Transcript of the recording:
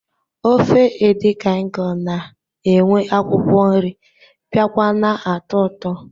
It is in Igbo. Ofe edi kan ịkọn na-enwe akwụkwọ nri biakwa na-atọ ụtọ